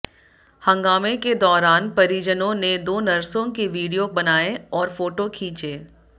हंगामे के दाैरान परिजनाें ने दाे नर्सों के वीडियाे बनाए और फाेटाे खींचे